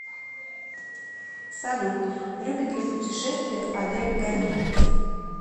салют любит ли пушетествия олег гонеев